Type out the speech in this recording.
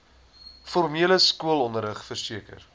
formele skoolonderrig verseker